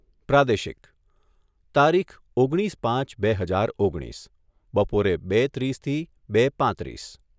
પ્રાદેશિક તારીખ ઓગણીસ પાંચ બે હજાર ઓગણીસ બપોરે બે ત્રીસથી બે પાંત્રીસ